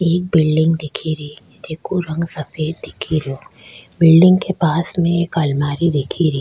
एक बिल्डिंग दिखेरी जेको रंग सफेद दिखेरयो बिल्डिंग दिखेरी के पास में एक अलमारी दिखेरी।